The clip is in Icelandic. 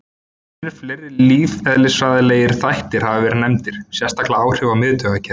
Mun fleiri lífeðlisfræðilegir þættir hafa verið nefndir, sérstaklega áhrif á miðtaugakerfið.